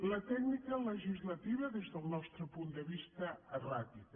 la tècnica legislativa des del nostre punt de vista erràtica